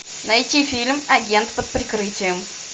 найти фильм агент под прикрытием